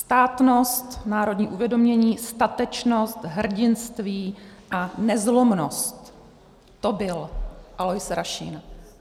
Státnost, národní uvědomění, statečnost, hrdinství a nezlomnost - to byl Alois Rašín.